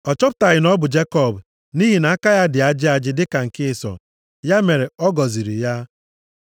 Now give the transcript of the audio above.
Ọ chọpụtaghị na ọ bụ Jekọb, nʼihi na aka ya dị ajị ajị dịka nke Ịsọ. Ya mere, ọ gọziri ya.